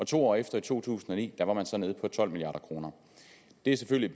to år efter i to tusind og ni var man så nede på tolv milliard kroner det har selvfølgelig